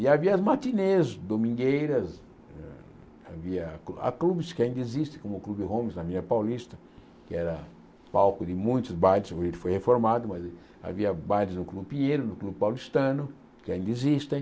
E havia as matinês domingueiras, havia clu clubes que ainda existem, como o Clube Holmes na Avenida Paulista, que era palco de muitos bailes, hoje ele foi reformado, mas havia bailes no Clube Pinheiro, no Clube Paulistano, que ainda existem.